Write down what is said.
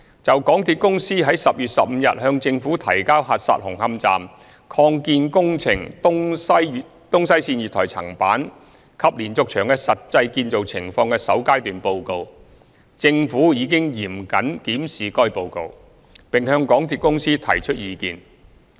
就港鐵公司於10月15日向政府提交核實紅磡站擴建工程東西線月台層板及連接牆的實際建造情況的首階段報告，政府已嚴謹檢視該報告，並向港鐵公司提出意見。